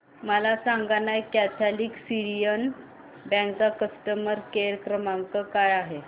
मला सांगाना Catholic Syrian bank चा कस्टमर केअर क्रमांक काय आहे